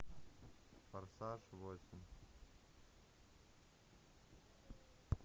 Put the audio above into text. форсаж восемь